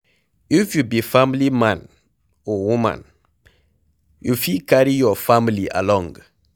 If you be family man or woman, you fit carry your family along